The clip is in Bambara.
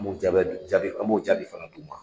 jaabi an b'o jaabi fana di u ma.